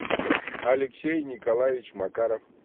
алексей николаевич макаров